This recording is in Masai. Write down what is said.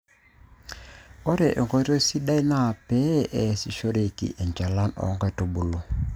ore enkoitoi sidai naa pee eeasishoreki enchalan oo nkulupuok